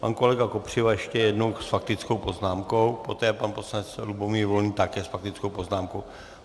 Pan kolega Kopřiva ještě jednou s faktickou poznámkou, poté pan poslanec Lubomír Volný také s faktickou poznámkou.